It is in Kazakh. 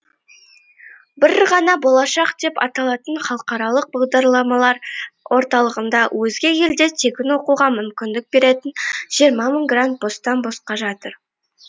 бір ғана болашақ деп аталатын халықаралық бағдарламалар орталығында өзге елде тегін оқуға мүмкіндік беретін жиырма мың грант бостан босқа жатыр